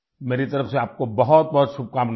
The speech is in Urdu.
میری طرف سے آپ کو بہت بہت مبارکباد